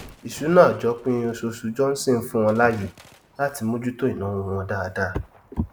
ìṣúná àjọpín oṣooṣù johnson fún wọn láàyè latí mojú tó ìnáwó wọn dáadáa